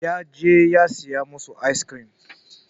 Ya je ya saya masu aiskrim.